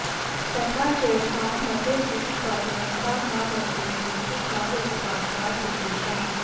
तथा चैषां मते द्रुतिकारणता न रसेष्विति काव्यप्रकाशात् विशेषः